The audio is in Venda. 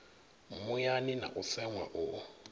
muyani na u seṅwa u